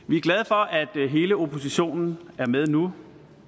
det er hele oppositionen er med nu